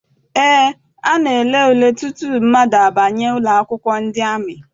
Eé, a na-ele ule tutu mmadụ abanye ụlọakwụkwọ ndị amị.